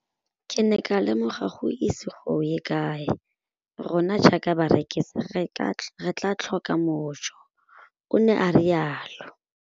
Ke ne ka lemoga gore go ise go ye kae rona jaaka barekise re tla tlhoka mojo, o ne a re jalo.